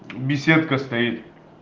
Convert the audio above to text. беседка стоит